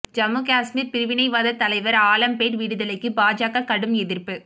ஜம்மு காஷ்மீர் பிரிவினைவாத தலைவர் ஆலம்பேட் விடுதலைக்கு பாஜக கடும் எதிர்ப்பு